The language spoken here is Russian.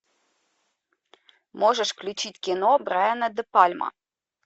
можешь включить кино брайана де пальма